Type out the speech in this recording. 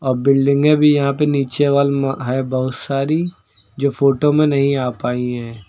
बिल्डिंगे भी यहां पे नीचे वाल में है बहुत सारी जो फोटो में नहीं आ पाई हैं।